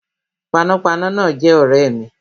Panápaná náà jé ọ̀rẹ́ mi